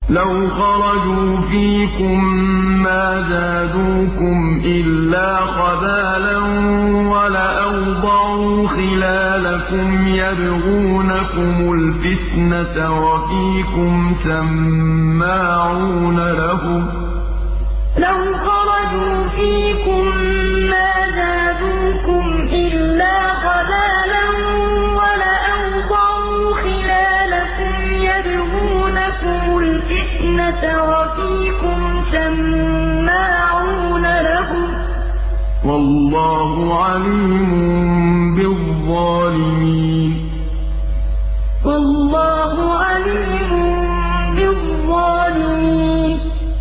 لَوْ خَرَجُوا فِيكُم مَّا زَادُوكُمْ إِلَّا خَبَالًا وَلَأَوْضَعُوا خِلَالَكُمْ يَبْغُونَكُمُ الْفِتْنَةَ وَفِيكُمْ سَمَّاعُونَ لَهُمْ ۗ وَاللَّهُ عَلِيمٌ بِالظَّالِمِينَ لَوْ خَرَجُوا فِيكُم مَّا زَادُوكُمْ إِلَّا خَبَالًا وَلَأَوْضَعُوا خِلَالَكُمْ يَبْغُونَكُمُ الْفِتْنَةَ وَفِيكُمْ سَمَّاعُونَ لَهُمْ ۗ وَاللَّهُ عَلِيمٌ بِالظَّالِمِينَ